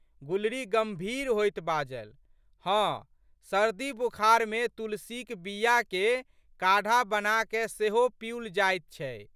गुलरी गंभीर होइत बाजलि। "हँ, सर्दीबुखारमे तुलसीक बीयाके काढ़ा बनाकए सेहो पिउल जाइत छै।